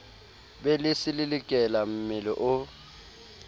be le selelekela mmele o